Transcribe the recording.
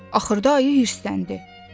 Axırda ayı hirsləndi.